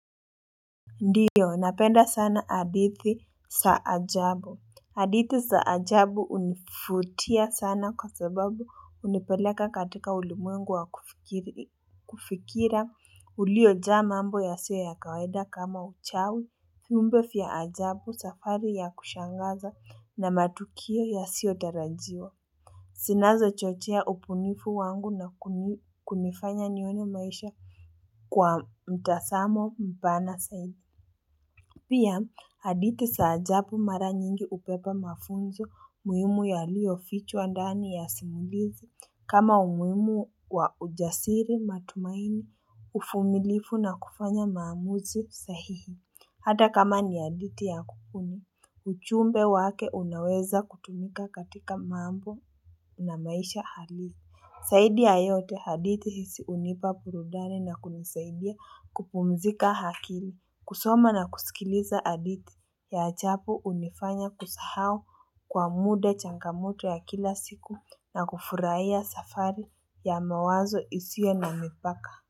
Ndiyo, napenda sana adidhi za ajabu. Adithi za ajabu unifutia sana kwa sababu unipeleka katika uli mwengu wa kufikiri ulio jaa mambo ya siyo ya kaweda kama uchawi. Viumbe fya ajabu safari ya kushangaza na matukio yasiotarajiwa. Sinazochochea upunifu wangu na kunifanya nione maisha kwa mtasamo mpana saidi. Pia, hadithi sa ajabu mara nyingi upepa mafunzo muhimu yaliyofichwa ndani ya simulizi kama umuhimu wa ujasiri matumaini ufumilifu na kufanya maamuzi sahihi. Hata kama ni hadithi ya kupuni, uchumbe wake unaweza kutumika katika mambo na maisha hali. Saidi ya yote hadithi si unipa purudani na kunisaidia kupumzika hakili. Kusoma na kusikiliza adithi ya achapu unifanya kusahau kwa mude changamoto ya kila siku na kufuraia safari ya mawazo isiyo na mipaka.